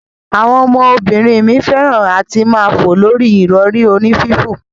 Awon omo binrin mi feran ati maa fo lori irori oni fifo.